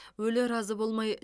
өлі разы болмай